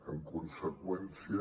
en conseqüència